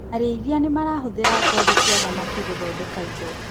Arĩithia nĩmarahũthĩra ngothi cia thamaki gũthondeka indo.